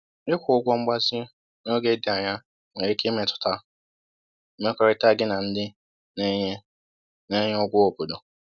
Ịkwụ ụgwọ mgbazinye n’oge dị anya nwere ike imetụta mmekọrịta gị na ndị na-enye na-enye ụgwọ obodo